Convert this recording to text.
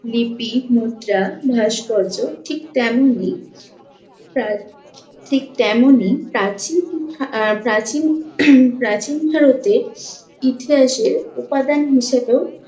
লিপি, মুদ্রা, ভাস্কর্য ঠিক তেমনই প্রা~ ঠিক তেমনই প্রাচীন ভা~ আহ প্রাচীন প্রাচীন ভারতের ইতিহাসের উপাদান হিসাবেও